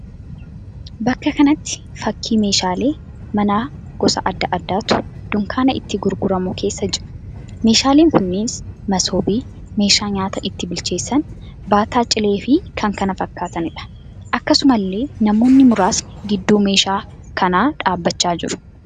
Bakka kanatti fakkii meeshaalee manaa gosa adda addaatu dunkaana itti gurguramu keessa jira. Meeshaaleen kunis: Masoobii, meeshaa nyaata itti bilcheessan, baataa cileefi kan kana fakkaataniidha. Akkasumallee namoonni muraasni gidduu meeshaa kanaa dhaabbachaa jiru.